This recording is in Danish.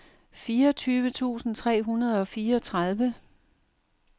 fireogtyve tusind tre hundrede og fireogtredive